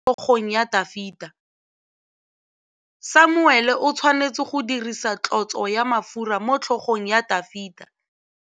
Samuele o tshwanetse go dirisa tlotsô ya mafura motlhôgong ya Dafita.